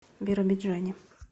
биробиджане